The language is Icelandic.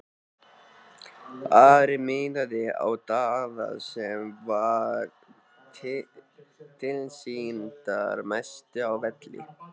Ari miðaði á Daða sem var tilsýndar mestur á velli.